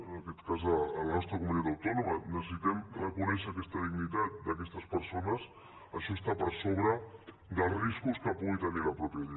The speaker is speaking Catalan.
en aquest cas de la nostra comunitat autònoma necessitem reconèixer aquesta dignitat d’aquestes persones això està per sobre dels riscos que pugui tenir la mateixa llei